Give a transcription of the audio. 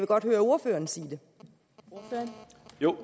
godt høre ordføreren sige